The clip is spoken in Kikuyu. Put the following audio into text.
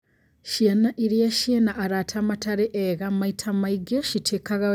Ciana iria ciĩna arata matarĩ ega maita maigĩ citiĩkaga wega mathomo-inĩ